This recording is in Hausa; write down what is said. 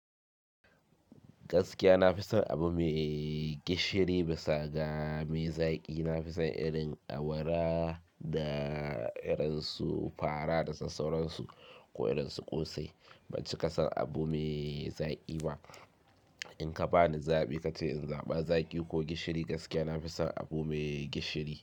Gaskiya na fi son abu mai gishiri, bisaga mai zaƙi. Na fi son irin awara da iransu fara da sassauransu ko iransu ƙosai. Bancika son abu mai zaƙi ba. Inka bani zaɓi kace in zaɓa zaƙi ko gishiri, gaskiya na fi son abu mai gishiri.